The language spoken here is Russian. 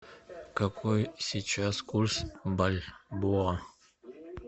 какой сейчас курс бальбоа